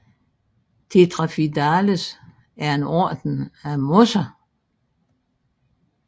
Tetraphidales er en orden af mosser